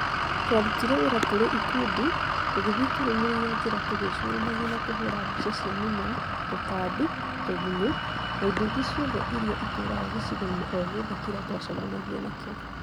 Twarutire wĩra tũrĩ ikundi tũgĩthiĩ tũrũmĩrĩire njĩra tũgĩcũũranagia na kũhũra mbica cia mĩmera, tũtambi, tũgunyũ na indo ingĩ ciothe iria itũũraga gĩcigo-inĩ o gĩothe kĩrĩa twacemanagia nakĩo.